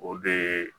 O de ye